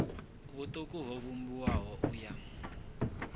vhuṱuku ho vhumbiwaho u ya